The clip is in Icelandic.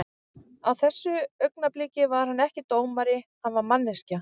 Á þessu augnabliki var hann ekki dómari, hann var manneskja.